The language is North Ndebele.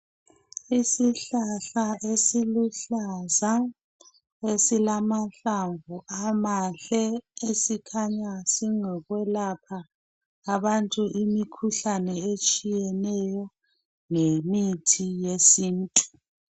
Isihlahla esiluhlaza esilamahlamvu amahle esikhanya silokwelapha abantu imikhuhlane etshiyeneyo ngemithi yesintu.